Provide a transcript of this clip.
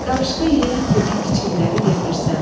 Qarışqa yeyən kimi kiçikləri yemirsən.